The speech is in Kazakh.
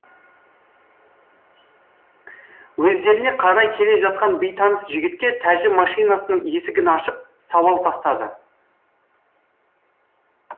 өздеріне қарай келе жатқан бейтаныс жігітке тәжім машинасының есігін ашып сауал тастады